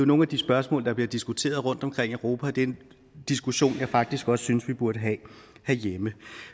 nogle af de spørgsmål der bliver diskuteret rundtomkring i europa og det er en diskussion som jeg faktisk også synes vi burde have herhjemme